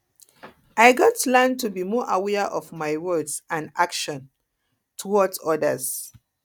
i gats learn to be more aware of my words and actions and actions towards others